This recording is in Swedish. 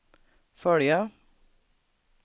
följa